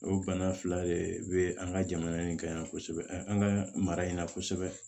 O bana fila de be an ka jamana in kan yan kosɛbɛ an ka mara in na kosɛbɛ